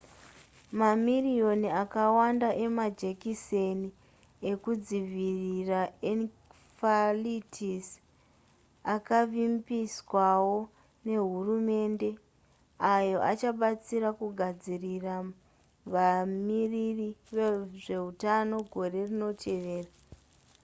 mamiriyoni akawanda emajekiseni ekudzivirira encephalitis akavimbiswawo nehurumende ayo achabatsira kugadzirira vamiriri vezveutano gore rinoteveera